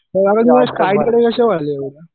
वाढल्या एवढ्या?